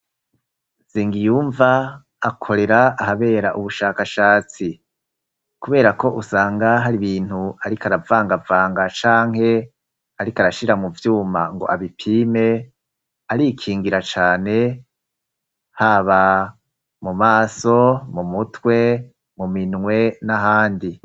Nsengiyumva akorera ahabera ubushakashatsi, kubera ko usanga hari ibintu ariko aravangavanga canke ariko arashira mu vyuma ngo abipime arikingira cane haba mu maso, mu mutwe, mu minwe, n'ahandi.